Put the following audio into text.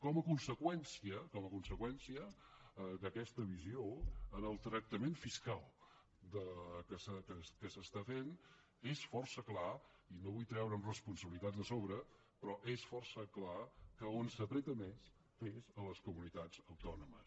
com a conseqüència d’aquesta visió en el tractament fiscal que s’està fent és força clar i no vull treure’m responsabilitats de sobre però és força clar que on s’apreta més és a les comunitats autònomes